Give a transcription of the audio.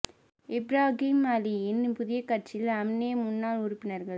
இப்ராகிம் அலியின் புதிய கட்சியில் அம்னோ முன்னாள் உறுப்பினர்கள்